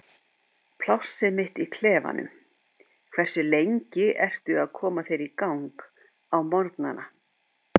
plássið mitt í klefanum Hversu lengi ertu að koma þér í gang á morgnanna?